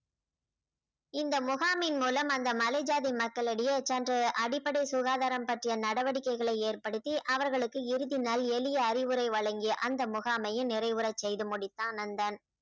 இந்த முகாமின் மூலம் அந்த மலை ஜாதி மக்களிடையே சென்று அடிப்படை சுகாதாரம் பற்றிய நடவடிக்கைகளை ஏற்படுத்தி அவர்களுக்கு இறுதி நல் எளிய அறிவுறை வழங்கி அந்த முகாமையும் நிறைவுற செய்து முடித்தான் நந்தன்